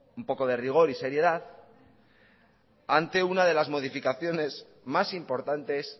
un poco de rigor y seriedad ante una de las modificaciones más importantes